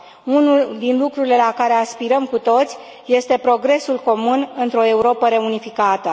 Unul din lucrurile la care aspirăm cu toții este progresul comun într o Europă reunificată.